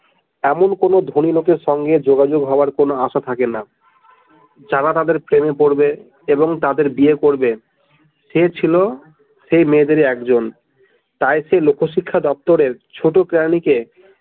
এমন কোনো ধনী লোকের সঙ্গে যোগাযোগ হবার কোনো আশা থাকে না যারা তাদের প্রেমে পড়বে যারা তাদের বিয়ে করবে সে ছিল সেই মেয়েদেরি একজন তাই সেই লোক শিক্ষা দপ্তরে ছোট কেরানিকে।